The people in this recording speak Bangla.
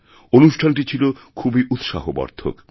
অনুষ্ঠানটি ছিল খুবই উৎসাহবর্ধক